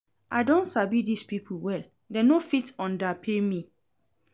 I don sabi dis people well, dem no fit underpay me